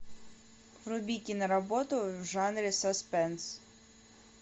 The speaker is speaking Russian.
вруби киноработу в жанре саспенс